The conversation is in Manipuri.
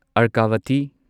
ꯑꯔꯀꯥꯚꯇꯤ